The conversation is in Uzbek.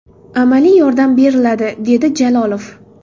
Amaliy yordam beriladi”, dedi Jalolov.